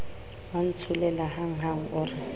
wa ntsholela hanghang o re